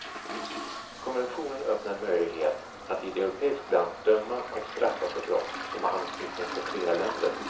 Konventionen öppnar en möjlighet att i ett europeiskt land döma och straffa för brott som har anknytning till flera länder.